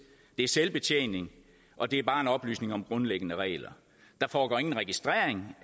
det er selvbetjening og det er bare oplysning om grundlæggende regler der foregår ingen registrering